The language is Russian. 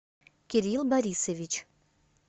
кирилл борисович